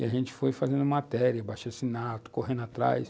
E a gente foi fazendo matéria, abaixo- assinado, correndo atrás.